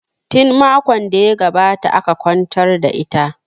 Tin makon da ya gabata aka kwantar da ita